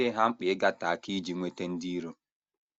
Ọ dịghị ha mkpa ịgate aka iji nweta ndị iro.